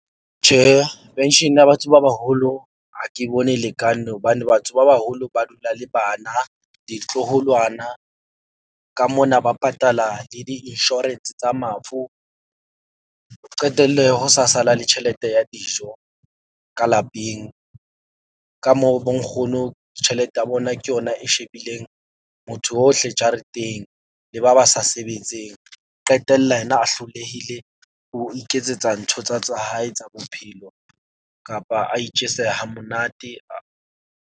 Tjhe, pension ya batho ba baholo, ha ke bone lekane hobane batho ba baholo ba dula le bana, ditloholwana ka mona ba patala le di-insurance tsa mafu. Qetelle ho sa sala le tjhelete ya dijo ka lapeng, ka moo bo nkgono tjhelete ya bona ke yona e shebileng motho ohle jareteng le ba ba sa sebetseng. Qetella yena a hlolehile ho iketsetsa ntho tsa tsa hae tsa bophelo kapa a itjese ha monate .